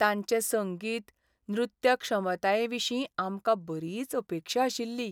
तांचे संगीत, नृत्य क्षमतायेंविशीं आमकां बरीच अपेक्षा आशिल्ली.